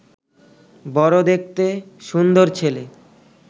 বড় দেখতে-সুন্দর ছেলে